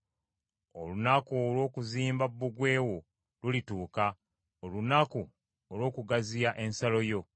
Olunaku olw’okuzimba bbugwe wo lulituuka, olunaku olw’okugaziya ensalo yo.